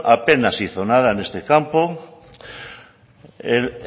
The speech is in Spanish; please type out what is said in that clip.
apenas hizo nada en este campo el